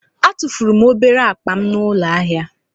Etufuru m obere akpa m n'ụlọ ahịa.